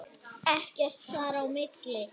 Ekkert þar á milli.